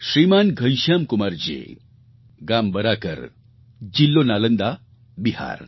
શ્રીમાન ઘનશ્યામકુમારજી ગામ બરાકર જિલ્લો નાલંદા બિહાર